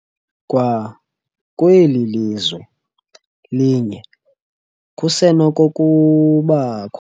Kwakweli lizwe linye kusenokukubakho